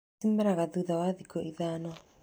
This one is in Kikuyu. Cimeraga thutha wa thikũ ithano.